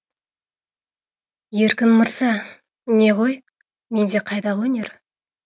еркін мырза не ғой менде қайдағы өнер